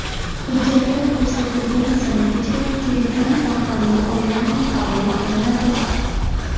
Hujjatlar ko‘rsatilgan sanagacha Telegram orqali onlayn qabul qilinadi.